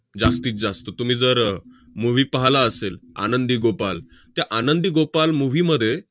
जास्तीत जास्त. तुम्ही जर movie पाहला असेल आनंदी गोपाल, त्या आनंदी गोपाल movie मध्ये